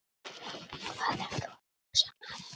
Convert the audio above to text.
Hvað ertu að hugsa, maður?